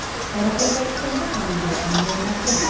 Qoraqalpog‘istonda ham yo‘q bunday vaziyat.